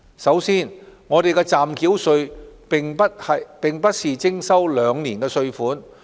首先，暫繳稅並不是徵收兩年的稅款。